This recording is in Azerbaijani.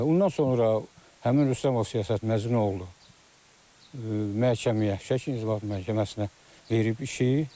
Ondan sonra həmin Rüstəmov Siyasət Məcnun oğlu məhkəməyə, İnzibati Məhkəməsinə verib işi.